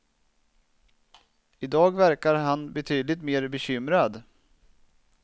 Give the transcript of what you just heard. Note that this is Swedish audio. I dag verkar han betydligt mer bekymrad.